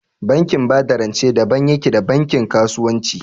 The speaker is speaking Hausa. Bankin ba da rance daban yake da bankin kasuwanci